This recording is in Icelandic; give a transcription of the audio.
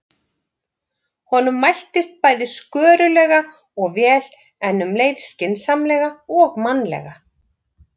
Honum mæltist bæði skörulega og vel, en um leið skynsamlega og mannlega.